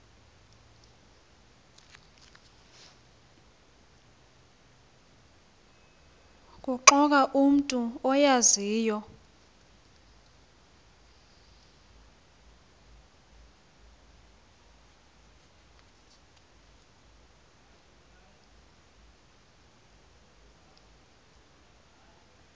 kuxoxa umntu oyaziyo